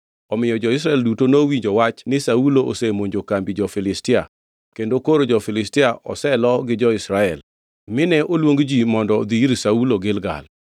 Omiyo jo-Israel duto nowinjo wach ni Saulo osemonjo kambi jo-Filistia kendo koro jo-Filistia oselo gi jo-Israel. Mine oluong ji mondo odhi ir Saulo Gilgal.